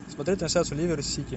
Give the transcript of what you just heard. смотреть трансляцию ливер сити